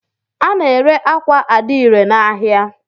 A na ere ákwà adire na áhiá.